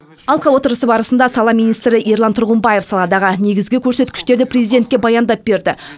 алқа отырысы барысында сала министрі ерлан тұрғымбаев саладағы негізгі көрсеткіштерді президентке баяндап берді